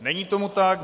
Není tomu tak.